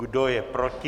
Kdo je proti?